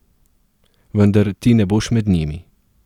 Vendar ti ne boš med njimi.